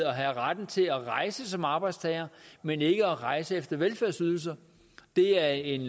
at have retten til at rejse som arbejdstager men ikke at rejse efter velfærdsydelser det er en